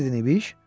Nə dedin İbiş?